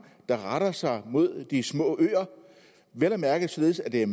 der retter sig mod de små øer vel at mærke således at det er